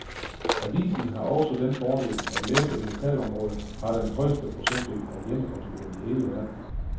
Avisen har også den fordel, at læserne i lokalområdet har den højeste procentdel af hjemmecomputere i hele verden.